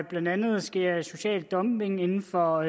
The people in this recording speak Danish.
blandt andet sker social dumping inden for